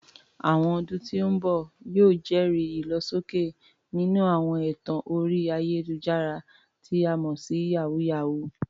Àwọn ọdún tí ń bọ̀ yóò jẹ́rìí ìlọsókè nínú àwọn ẹ̀tàn orí ayélujára, tí a mọ̀ sí "yàwúyáwù ."